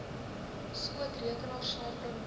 skootrekenaar saambring want